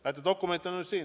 Näete, dokument on nüüd siin.